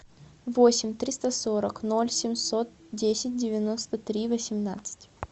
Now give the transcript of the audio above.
восемь триста сорок ноль семьсот десять девяносто три восемнадцать